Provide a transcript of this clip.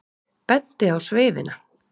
Benti á sveifina.